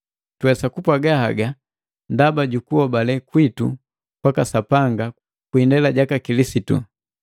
Tuwesa kupwaaga haga ndaba jukuhobale kwitu kwaka Sapanga kwi indela jaka Kilisitu.